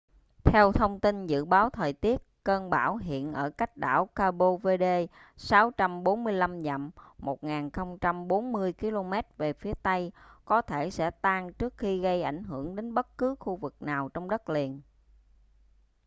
theo thông tin dự báo thời tiết cơn bão hiện ở cách đảo cape verde 645 dặm 1040 km về phía tây có thể sẽ tan trước khi gây ảnh hưởng đến bất cứ khu vực nào trong đất liền